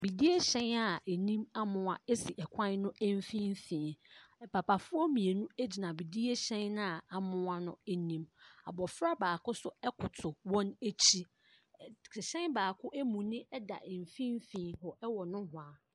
Bidie hyɛn a anim amoa esi ɛkwan mfimfinn. Papafoɔ mmienu egyina bidie hyɛn na amoa n'anim. Abofra baako ɛnso akoto wɔn akyi. Ɛhyɛn baako amuni da mfimfini hɔ ɛwɔ nohwaa.